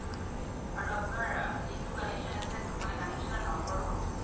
আৰু আপুনাৰ জিতু connection আছে মানে connection ৰ number তু ককচোন